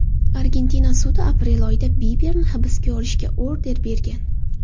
Argentina sudi aprel oyida Biberni hibsga olishga order bergan .